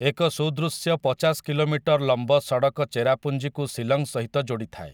ଏକ ସୁଦୃଶ୍ୟ ପଚାଶ କିଲୋମିଟର ଲମ୍ବ ସଡ଼କ ଚେରାପୁଞ୍ଜିକୁ ଶିଲଂ ସହିତ ଯୋଡ଼ିଥାଏ ।